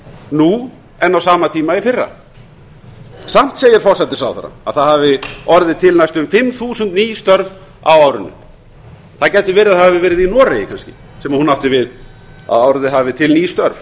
nú en á sama tíma í fyrra samt segir forsætisráðherra að það hafi orðið til næstum fimm þúsund ný störf á árinu það gæti verið að það hafi verið í noregi kannski sem hún átti við að orðið hafi til ný störf